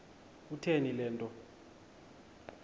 kutheni le nto